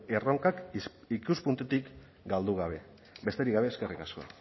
erronkak ikuspuntutik galdu gabe besterik gabe eskerrik asko